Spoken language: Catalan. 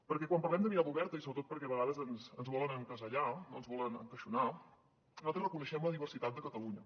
perquè quan parlem de mirada oberta i sobretot perquè a vegades ens volen encasellar no ens volen encaixonar nosaltres reconeixem la diversitat de catalunya